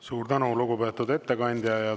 Suur tänu, lugupeetud ettekandja!